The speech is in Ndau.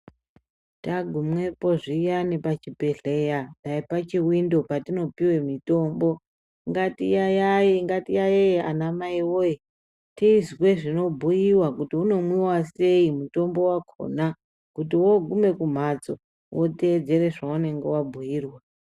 Tagumepo zviyani pachibhedhlera dai pachiwindopo patinopiwe mitombo ngatiyaiye, ngatiyaiye anamai woye tizwe zvinobhuiwa kuti unomwiwa sei mutombo wakhona kuti woogume kumhatso woteedzera zvaunenge wabhuirwa.